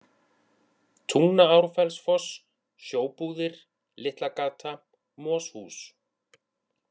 Tungnaárfellsfoss, Sjóbúðir, Litlagata, Moshús